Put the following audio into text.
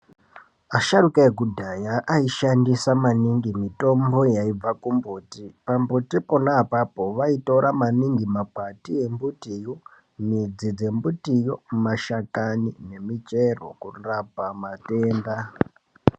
Asharuka ekudhaya aishandisa maningi mitombo yaibva kumbiti pambuti pona apapo vaitora maningi makwati embitiyo midzi dzembitiyo mashakani nemichero kurapa matenda.